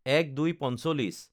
০১/০২/৪৫